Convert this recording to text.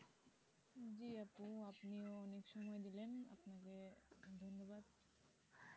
জি আপু আপনিও অনেক সময় দিলেন আপনাকে ধন্নবাদ